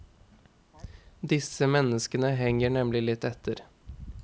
Disse menneskene henger nemlig litt etter.